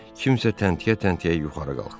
Kimsə təntiyə-təntiyə yuxarı qalxdı.